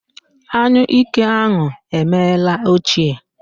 Anyụike ahụ emeela ochie